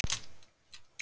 Veiddi bæði rjúpu og ref.